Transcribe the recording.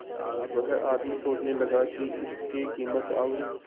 वह आदमी सोचने लगा की इसके कीमत और